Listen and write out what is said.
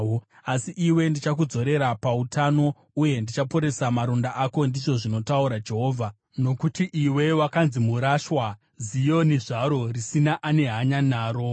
Asi ndichakudzorera pautano uye ndichaporesa maronda ako,’ ndizvo zvinotaura Jehovha, ‘nokuti iwe wakanzi murashwa, Zioni zvaro risina ane hanya naro.’